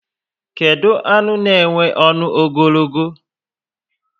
Kedu anụ na enwe ọṅụ ogologo?